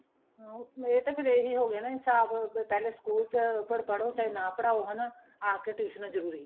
ਹਾਂ ਇਹ ਤਾਂ ਫੇਰ ਇਹੀ ਹੋ ਗਿਆ ਨਾ ਇਨਸਾਫ਼ ਪਹਿਲੇ school ਚ ਪਰ ਪੜ੍ਹੋ ਚਾਹੇ ਨਾ ਪੜ੍ਹਾਉ ਹਨਾ ਏ ਕੇ ਟੁਈਸ਼ਨਾ ਜਰੂਰੀ ਏ